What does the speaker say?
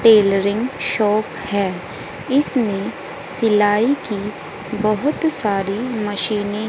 tailoring shop है इसमें सिलाई की बहुत सारी मशीनें --